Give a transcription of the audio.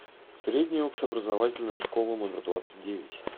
средняя общеобразовательная школа номер двадцать девять